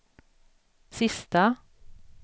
sista